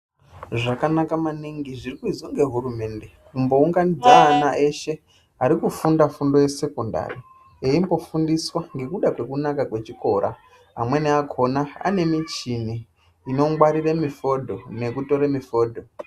Zvakanaka maningi zvirikuizwa ngehurumende, kumbounganidza ana eshe arikufunda fundo yesekondari, eimbofundiswa ngekunaka kwechikora, amweni akhona ane michini inongwarire mifodho nekutore mifodho.